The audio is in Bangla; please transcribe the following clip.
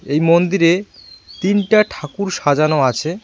এই মন্দিরে তিনটা ঠাকুর সাজানো আছে।